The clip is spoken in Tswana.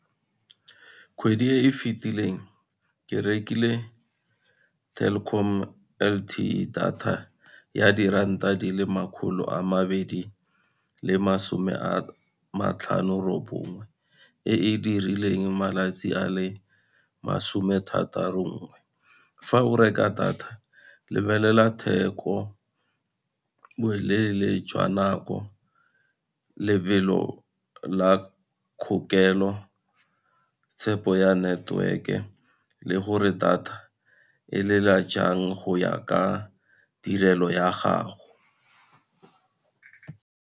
Kgwedi e e fitileng ke rekile Telkom L_T_E data, ya diranta di le makgolo a mabedi le masome a matlhano robonngwe, e e dirileng malatsi a le masome thataro nngwe. Fa o reka data, lebelela theko, boleele jwa nako, lebelo la kgokelo, tshepo ya network-e le gore data e lela jang go ya ka tirelo ya gago.